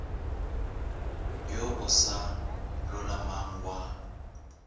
wo o sa lolamang wa